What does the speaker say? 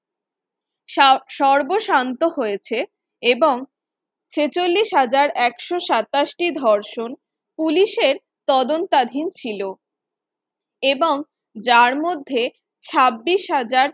সর সর্বস্বান্ত হয়েছে এবং ছেচল্লিশ হাজার একশ সাতাশ টি ধর্ষণ Police এর তদন্তাধীন ছিল এবং যার মধ্যে ছাব্বিশ হাজার